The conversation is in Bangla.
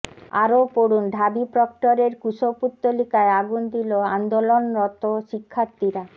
আরো পড়ুন ঢাবি প্রক্টরের কুশপুত্তলিকায় আগুন দিল আন্দোলনরত শিক্ষার্থীরা